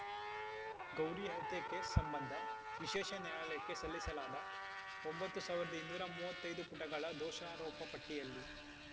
ಗೌರಿ ಹತ್ಯೆ ಕೇಸ್‌ ಸಂಬಂಧ ವಿಶೇಷ ನ್ಯಾಯಾಲಯಕ್ಕೆ ಸಲ್ಲಿಸಲಾದ ಒಂಬತ್ತ್ ಸಾವಿರದ ಇನ್ನೂರ ಮೂವತ್ತೈ ದು ಪುಟುಗಳ ದೋಷಾರೋಪಪಟ್ಟಿಯಲ್ಲಿ